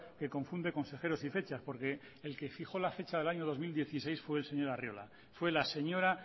que confunde consejeros y fechas porque el que fijó la fecha del año dos mil dieciséis fue el señor arriola fue la señora